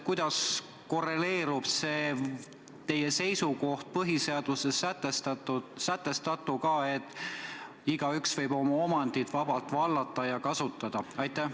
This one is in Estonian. Kuidas korreleerub teie seisukoht põhiseaduses sätestatuga, et igaüks võib oma omandit vabalt vallata ja kasutada?